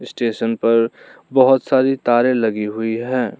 Station पर बहुत सारी तारें लगी हुई हैं।